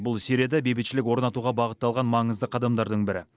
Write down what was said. бұл сирияда бейбітшілік орнатуға бағытталған маңызды қадамдардың бірі